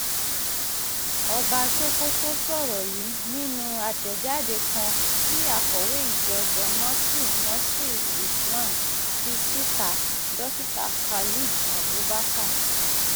ọba sokoto sọ̀rọ̀ yìí nínú àtẹ̀jáde kan tí akọ̀wé ìjọ jamaatul nasríl islam fi síta dókítà khalid abubakar